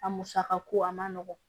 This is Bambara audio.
A musaka ko a ma nɔgɔn